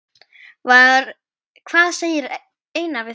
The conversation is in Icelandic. Hvað segir Einar við því?